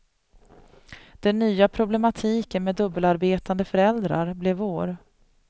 Den nya problematiken med dubbelarbetande föräldrar blev vår.